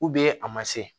a ma se